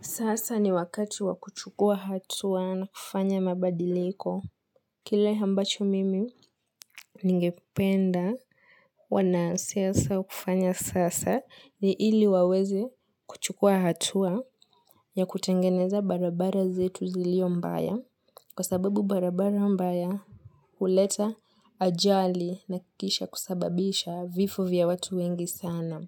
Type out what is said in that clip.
Sasa ni wakati wakuchukua hatua na kufanya mabadiliko. Kile ambacho mimi ningependa wanasiasa kufanya siasa ni ili waweze kuchukua hatua ya kutengeneza barabara zetu zilio mbaya. Kwa sababu barabara mbaya huleta ajali na kisha kusababisha vifo vya watu wengi sana.